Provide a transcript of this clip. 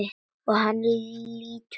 Og hann lítur upp.